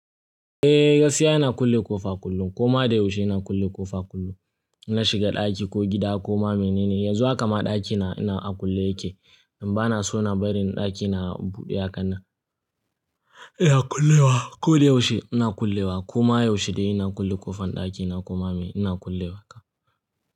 Eh, gaskiya ina kulle ƙofa kullum. Koma da yaushe ina kulle ƙofa kullum. Na shiga ɗaki ko gida koma mene ne, yanzu haka ma ɗakina ina a kulle yake. Dan ba na so ina barin ɗakina a buɗe haka nan. Ina kullewa, ko da yaushe ina kullewa. Koma yaushe dai ina kulle ƙofar ɗakina koma meye, ina kulle wa ka.